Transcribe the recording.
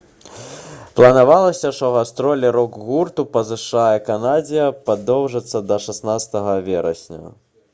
планавалася што гастролі рок-гурту па зша і канадзе прадоўжацца да 16 верасня